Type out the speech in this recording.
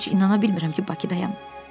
Heç inana bilmirəm ki, Bakıdayam.